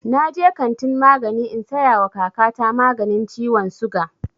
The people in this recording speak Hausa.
Na je kantin magani in saya wa kaka ta maganin ciwon suga